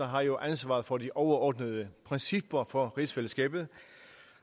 har jo ansvaret for de overordnede principper for rigsfællesskabet